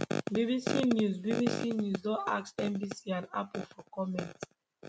bbc news bbc news don ask nbc and ample for comment